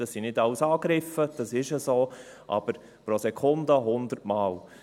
Das sind nicht alles Angriffe, das ist so – aber pro Sekunde 100 Mal.